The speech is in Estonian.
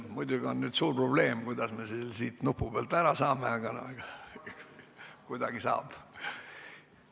Muidugi on nüüd suur probleem, kuidas me selle sealt nupu pealt ära saame, aga no kuidagi saab.